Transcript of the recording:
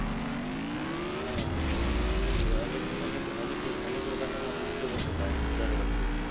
हां अनेक अनेक अनेक लोकांचा मृत्यू पण होत आहे दर वर्षी